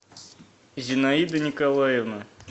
зинаида николаевна